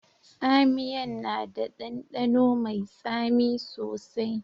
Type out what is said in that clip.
Tsamiyan na da dandano mai tsami sosai.